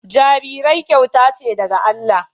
Jarirai kyauta ce daga Allah